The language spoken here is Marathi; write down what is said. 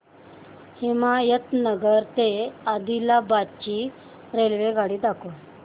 हिमायतनगर ते आदिलाबाद ची रेल्वेगाडी दाखवा